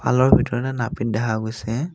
পাৰ্লাৰৰ ভিতৰত নাপিত দেখা গৈছে।